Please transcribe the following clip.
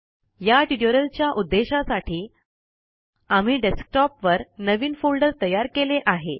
या ट्यूटोरियल च्या उद्देशासाठी आम्ही डेस्क्टॉप वर नवीन फोल्डर तयार केले आहे